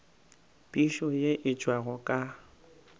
phišo ye e tšwago ka